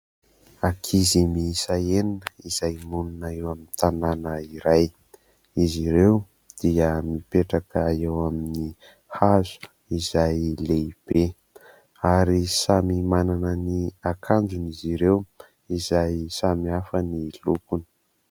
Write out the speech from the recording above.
Ankizy miisa enina izay monina eo amin'ny tanàna iray. Izy ireo dia mipetraka eo amin'ny hazo izay lehibe ary samy manana ny akanjony izy ireo izay samy hafa ny lokony.